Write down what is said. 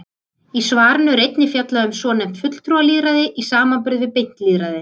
Í svarinu er einnig fjallað um svonefnt fulltrúalýðræði í samanburði við beint lýðræði.